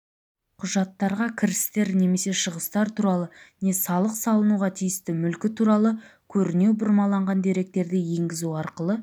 құжаттарға кірістер немесе шығыстар туралы не салық салынуға тиісті мүлкі туралы көрінеу бұрмаланған деректерді енгізу арқылы